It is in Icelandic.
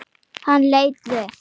Hann leit við.